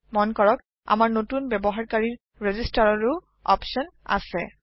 মন কৰকআমাৰ নতুন ব্যবহাৰকাৰীৰ ৰেজিষ্টাৰৰও অপচন আছে